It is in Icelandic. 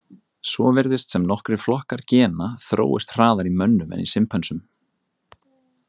Svo virðist sem nokkrir flokkar gena þróist hraðar í mönnum en í simpönsum.